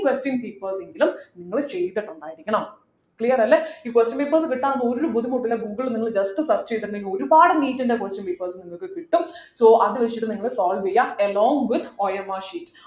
question papers എങ്കിലും നിങ്ങൾ ചെയ്തിട്ടുണ്ടായിരിക്കണം clear അല്ലെ ഈ question papers കിട്ടാൻ ഒരു ബുദ്ധിമുട്ടുമില്ല ഗൂഗിൾ നിങ്ങൾ just search ചെയ്തിട്ടുണ്ടെങ്കിൽ ഒരുപാട് NEET ന്റെ question papers നിങ്ങക് കിട്ടും so അത് വെച്ചിട്ട് നിങ്ങൾ solve ചെയ്യുക along withOMRsheet